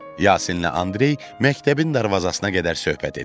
Yasinlə Andrey məktəbin darvazasına qədər söhbət etdilər.